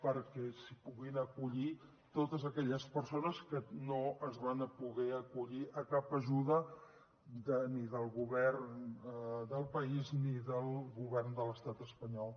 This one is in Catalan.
perquè s’hi puguin acollir totes aquelles persones que no es van poder acollir a cap ajuda ni del govern del país ni del govern de l’estat espanyol